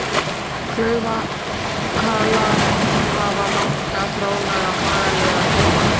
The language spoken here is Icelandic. Klaufhalar hafa langa, þráðlaga, margliða fálmara.